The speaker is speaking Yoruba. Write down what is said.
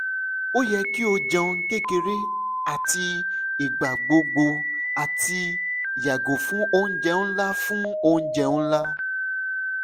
o yẹ ki o jẹun kekere ati igbagbogbo ati yago fun ounjẹ nla fun ounjẹ nla